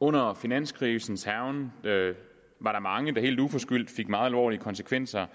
under finanskrisens hærgen var der mange der helt uforskyldt oplevede meget alvorlige konsekvenser